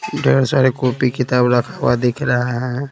ढेर सारे कॉपी किताब रखा हुआ दिख रहा है।